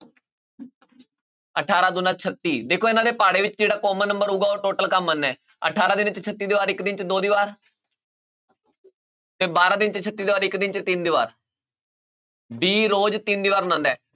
ਅਠਾਰਾਂ ਦੂਣਾ ਛੱਤੀ ਦੇਖੋ ਇਹਨਾਂ ਦੇ ਪਹਾੜੇ ਵਿੱਚ ਜਿਹੜਾ common number ਹੋਊਗਾ ਉਹ total ਕੰਮ ਅਠਾਰਾਂ ਦਿਨ 'ਚ ਛੱਤੀ ਦੀਵਾਰ, ਇੱਕ ਦਿਨ 'ਚ ਦੋ ਦੀਵਾਰ ਤੇ ਬਾਰਾਂ ਦਿਨ 'ਚ ਛੱਤੀ ਦੀਵਾਰ ਇੱਕ ਦਿਨ 'ਚ ਤਿੰਨ ਦੀਵਾਰ b ਰੋਜ਼ ਤਿੰਨ ਦੀਵਾਰ ਬਣਾਉਂਦਾ ਹੈ